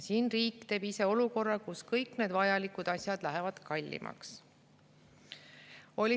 Siin tekitab riik ise olukorra, kus kõik need vajalikud asjad lähevad kallimaks.